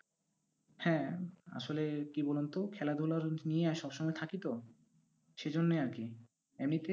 হ্যাঁ আসলে কি বলুন তো, খেলাধুলা আহ নিয়ে আহ সবসময় থাকি তো, সেই জন্যে আর কি, এমনিতে